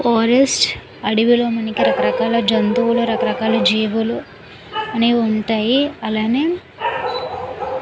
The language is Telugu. ఫారెస్ట్ అడవూల్లో మనకు రకరకాల జంతువులు రకరకాల జీవులు అన్ని ఉంటాయి. అలానే --